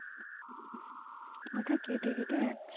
কথা কেটে কেটে যাচ্ছে